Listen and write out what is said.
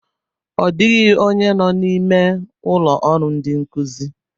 Ọ dịghị onye nọ n'ime ụlọ ọrụ ndị nkụzi